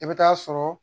I bɛ taa sɔrɔ